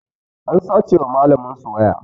An sace wa malamin su waya